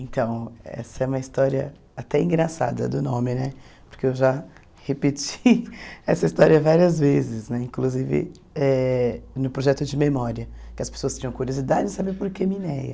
Então, essa é uma história até engraçada do nome né, porque eu já repeti essa história várias vezes né, inclusive eh no projeto de memória, que as pessoas tinham curiosidade em saber por que Mineia.